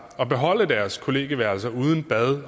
at beholde deres kollegieværelser uden bad